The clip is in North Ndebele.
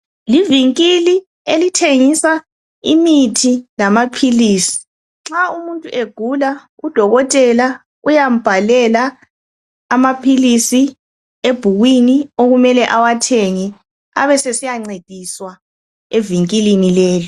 Livinkili elithengisa imithi lamaphilisi. Nxa umuntu egula udokotela uyambhalela amaphilisi ebhukwini okumele awathenge abesesiya ncediswa evinkilini lelo.